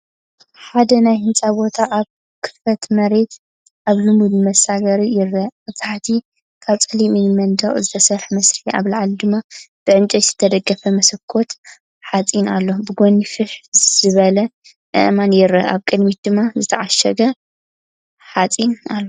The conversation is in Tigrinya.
ሓደ ናይ ህንጻ ቦታ ኣብ ክፉት መሬት ኣብ ልሙጽ መሳገሪ ይርአ፤ ኣብ ታሕቲ ካብ ጸሊም እምኒ መንደቕ ዝተሰርሐ መሰረት ኣብ ላዕሊ ድማ ብዕንጨይቲ ዝተደገፈ መስኮት ሓጺን ኣሎ። ብጎኒ ፋሕ ዝበለ ኣእማን ይርአን ኣብ ቅድሚት ድማ ዝተዓሸገ ሓፀንኣሎ።